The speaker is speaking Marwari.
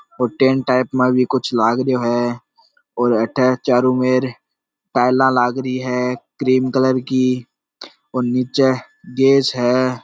और टैंट टाइप मा भी कुछ लग रियो है और अठे चारो मेर टाइला लाग री है क्रीम कलर की और निचे गैस है।